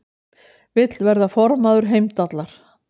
Vill verða formaður Heimdallar